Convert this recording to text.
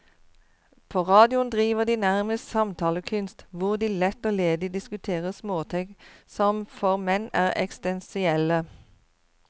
På radioen driver de nærmest samtalekunst, hvor de lett og ledig diskuterer småting som for menn er eksistensielle.